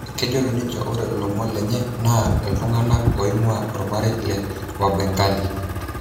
Kejoito ninche ore lomon lenye naa ltunganak oingua omarei le Wabengali.